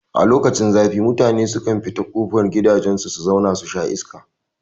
A lokacin zafi mutane sukan fito kofar gidajen su su zau na susha iska